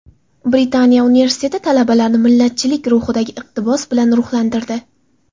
Britaniya universiteti talabalarni millatchilik ruhidagi iqtibos bilan ruhlantirdi.